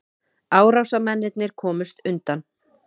Árásarmennirnir komust undan